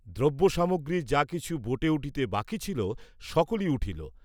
দ্রব্য সামগ্রী যা কিছু বোটে উঠিতে বাকী ছিল সকলি উঠিল।